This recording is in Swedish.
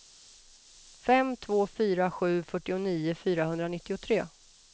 fem två fyra sju fyrtionio fyrahundranittiotre